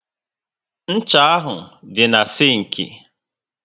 Ncha ahụ dị na sinki